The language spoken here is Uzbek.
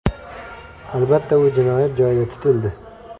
Albatta, u jinoyat joyida tutildi.